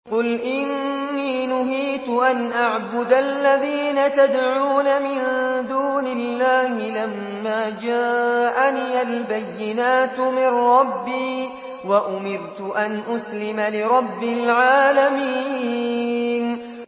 ۞ قُلْ إِنِّي نُهِيتُ أَنْ أَعْبُدَ الَّذِينَ تَدْعُونَ مِن دُونِ اللَّهِ لَمَّا جَاءَنِيَ الْبَيِّنَاتُ مِن رَّبِّي وَأُمِرْتُ أَنْ أُسْلِمَ لِرَبِّ الْعَالَمِينَ